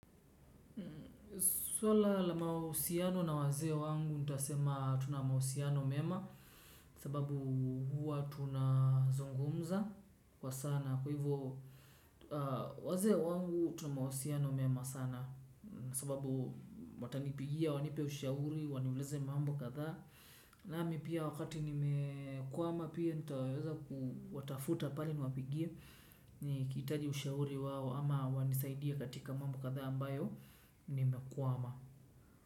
Swala la mahusiano na wazee wangu nitasema tuna mahusiano mema sababu huwa tuna zungumza kwa sana. Kwa hivyo wazee wangu tuna mahusiano mema sana sababu watanipigia, wanipe ushauri, waniulize mambo kadhaa. Nami pia wakati nimekwama pia nitaweza kuwatafuta pali niwapigie nikihitaji ushauri wao ama wanisaidie katika mambo kadhaa ambayo nimekwama.